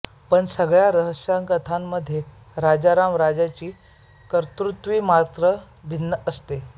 पण सगळ्या रहस्यकथांमध्ये राजाराम राजेची कर्तुकी मात्र भिन्न असते